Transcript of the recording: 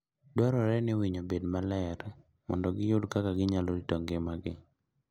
Dwarore ni winy obed maler mondo giyud kaka ginyalo rito ngimagi.